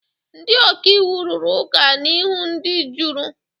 Ndị ọka iwu rụrụ ụka n'ihu ndị juri.